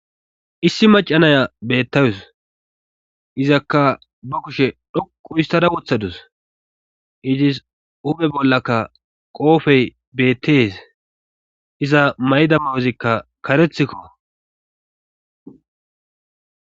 Issi macanaya beettawus izakka ba kushe dhoqu histada wothadus idzis hupe bollaka qoofey beettees iza mayda mayozikka karethikko.